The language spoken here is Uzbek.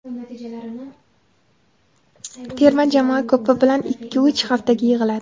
Terma jamoa ko‘pi bilan ikkiuch haftaga yig‘iladi.